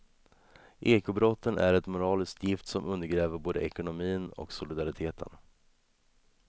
Ekobrotten är ett moraliskt gift som undergräver både ekonomin och solidariteten.